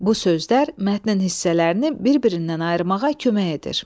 Bu sözlər mətnin hissələrini bir-birindən ayırmağa kömək edir.